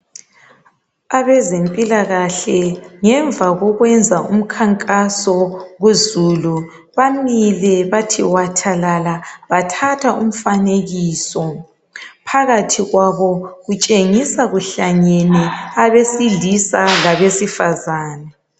Abezempilakahle ngemva kokwenza umkhankaso kuzulu bamile bathi wathalala bathatha umfanekiso, phakathi kwabo kutshengisa kuhlangene abesilisa labesifazane.